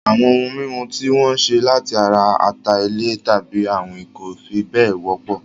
Àwọn ohun mímu tí wọ́n ṣe láti ara ata-ilẹ̀ tàbí àwín kò fi bẹ́ẹ̀ wọ́pọ̀